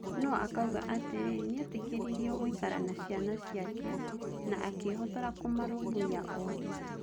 No-akauga atĩrĩ, nĩetĩkĩririo gũikara na ciana ciake na akĩhotora kũmarũmbũiya othe.